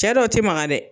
Cɛ dɔw ti maga dɛ